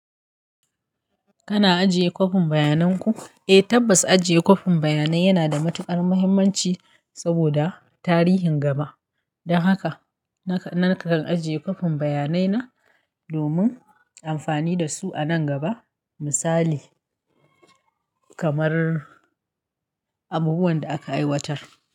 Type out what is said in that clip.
Kana ajiye kwafin bayanan ku? Eh, tabbas ajiye kwafin bayanai yana da matuƙar mahimmanci saboda tarihin gaba. Don haka nakan ajiye kwafin bayanai na domin amfani da su a nan gaba. Misali kamar abubuwan da aka aiwatar.